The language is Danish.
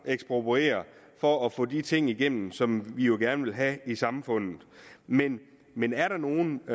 ekspropriere for at få de ting igennem som vi jo gerne vil have i samfundet men men er der nogle